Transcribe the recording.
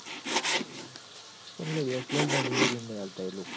પણ લ્યા bachelors ન જલ્દી room નઈ આલતા એ લોકો